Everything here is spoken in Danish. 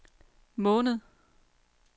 måned